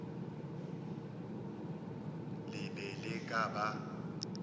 le be le ka ba